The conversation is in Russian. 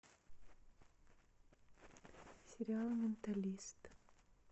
сериал менталист